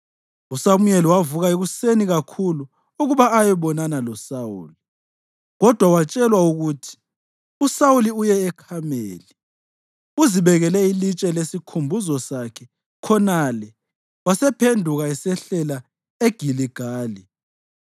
USamuyeli wavuka ekuseni kakhulu ukuba ayebonana loSawuli, kodwa watshelwa ukuthi, “USawuli uye eKhameli. Uzibekele ilitshe lesikhumbuzo sakhe khonale wasephenduka esehlela eGiligali.”